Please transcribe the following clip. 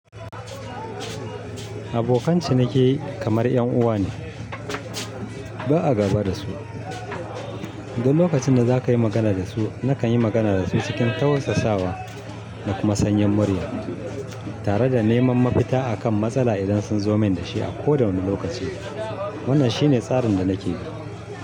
Abokan ciniki kamar 'yan uwa ne. Ba a gaba da su. Duk lokacin da za ka yi magana da su, nakan yi magana da su cikin tausasa wa da kuma sanyin murya, tare da neman mafita akan matsala idan sun zo min da shi a kowane lokaci. Wannan shine tsarin da nake yi.